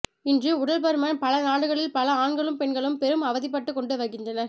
இன்று உடல் பருமன் பல நாடுகளில் பல ஆண்களும் பெண்களும் பெரும் அவதிப்பட்டு கொண்டு வருகின்றனர்